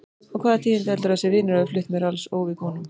Og hvaða tíðindi heldurðu að þessir vinir hafi flutt mér alls óviðbúnum?